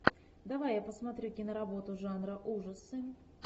давай я посмотрю киноработу жанра ужасы